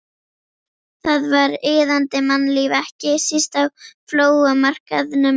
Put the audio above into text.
Þar var iðandi mannlíf, ekki síst á flóamarkaðnum.